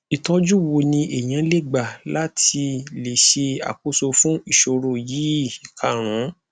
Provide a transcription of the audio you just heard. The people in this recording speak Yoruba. itoju wo ni eyan le gba la ti le se akoso fun isoro yi ikarun